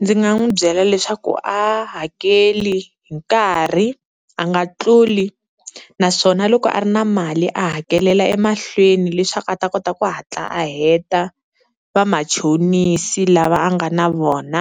Ndzi nga n'wi byela leswaku a hakeli hi nkarhi, a nga tluli naswona loko a ri na mali a hakelela emahlweni leswaku a ta kota ku hatla a heta vamachonisi lava a nga na vona,